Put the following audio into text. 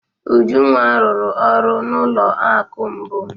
Ujunwa rụrụ ọrụ n'ụlọ akụ mbụ.